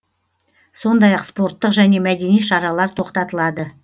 сондай ақ спорттық және мәдени шаралар тоқтатылады